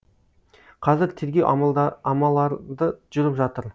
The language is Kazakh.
қазір тергеу амаларды жүріп жатыр